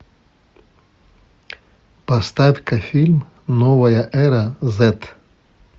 поставь ка фильм новая эра зет